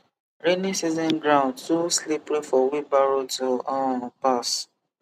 rainy season ground too slippery for wheelbarrow to um pass